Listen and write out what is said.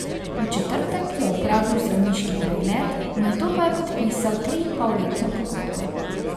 V četrtek je opravil zdravniški pregled, nato pa je podpisal triinpolletno pogodbo.